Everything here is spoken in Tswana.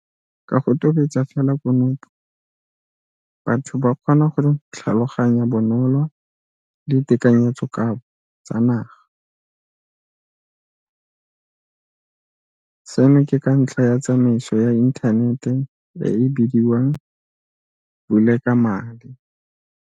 Ka go tobetsa fela konopo, batho ba kgona go tlhaloganya bonolo ditekanyetsoka bo tsa naga, seno ke ka ntlha ya tsamaiso ya inthanete e e bidiwang Vulekamali.